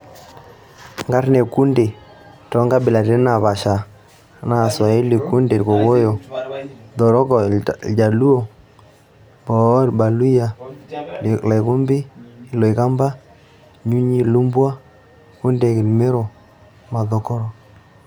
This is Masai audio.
Nkarn ekunde too nkabilaritin napasha naa swahili; kunde, irkokoyo; Thoroko, iljaluo; Boo, irbaluyia; Likhumbi, iloikamba; Nyunyi, ilumbwa; Kundeek, Imero; Mathoroko.